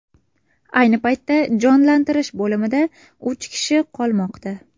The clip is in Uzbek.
Ayni paytda jonlantirish bo‘limida uch kishi qolmoqda.